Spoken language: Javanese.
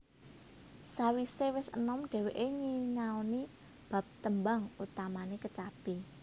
Sawisé wis enom dhéwéké nyinaoni bab tembang utamane kecapi